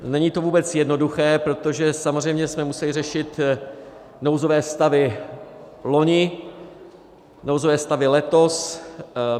Není to vůbec jednoduché, protože samozřejmě se musejí řešit nouzové stavy loni, nouzové stavy letos.